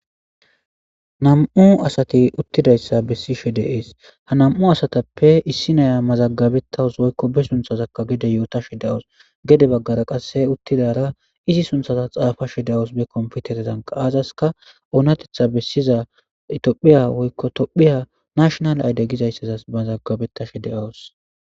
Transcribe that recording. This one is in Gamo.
nam7u asati uttidayssa bessishe de'ees ha nam7u asatappe issi naya mazaggabetawus woykko be sunthazakka gede yootashe dawos gede baggara qasse uttidara izi sunthaza xaafa she dawos be komputerezankaaazaska oonatetha bessiza itophiya woykko tophiya nashonal ayde gizayssazas mazagabeta she de7awos